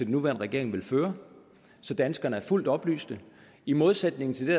nuværende regering vil føre så danskerne er fuldt oplyst i modsætning til det